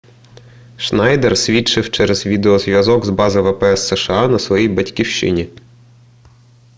шнайдер свідчив через відеозв'язок з бази впс сша на своїй батьківщині